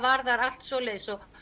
var allt svoleiðis og